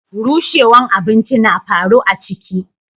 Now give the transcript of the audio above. Rushewwan abinci na faru a ciki.